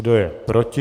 Kdo je proti?